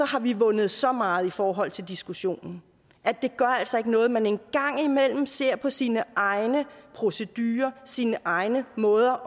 har vi vundet så meget i forhold til diskussionen at det altså ikke gør noget at man en gang imellem ser på sine egne procedurer sine egne måder